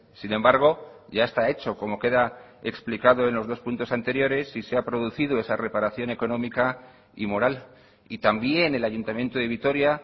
sin embargo ya está hecho como queda explicado en los dos puntos anteriores y se ha producido esa reparación económica y moral y también el ayuntamiento de vitoria